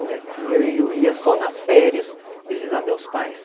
E aqui eu ia só nas férias visitar meus pais.